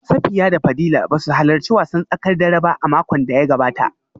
Safiya da Fadila ba su halarci wasan tsakar dare ba a makon da ya gabata